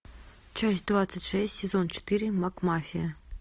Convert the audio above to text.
часть двадцать шесть сезон четыре макмафия